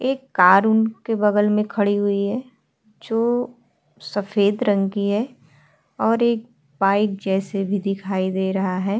एक कार उनके बगल में खड़ी हुई है जो सफेद रंग की है और एक बाइक जैसे भी दिखाई दे रहा है।